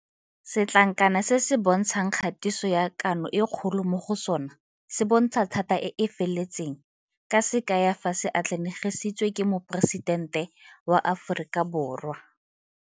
Setlankana se se bontshang kgatiso ya Kano e Kgolo mo go sona se bontsha thata e e feletseng ka se kaya fa se atlanegisitswe ke Moporesidente wa Aforika Borwa.